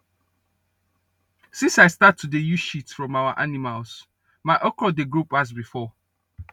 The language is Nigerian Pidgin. since i start to dey use shit from our animals my okra dey grow pass before